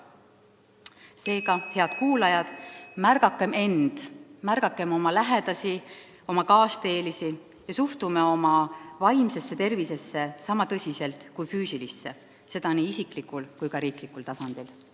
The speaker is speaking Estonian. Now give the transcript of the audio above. Seega, head kuulajad, märgakem end, oma lähedasi ja oma kaasteelisi ning suhtugem oma vaimsesse tervisesse sama tõsiselt kui füüsilisse – seda nii isiklikul kui ka riiklikul tasandil.